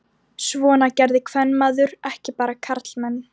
Svona gerði kvenmaður ekki, bara karlmenn.